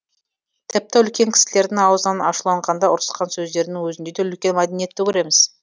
тіпті үлкен кісілердің аузынан ашуланғанда ұрысқан сөздерінің өзінде де үлкен мәдениетті көреміз